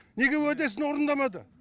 неге уәдесін орындамады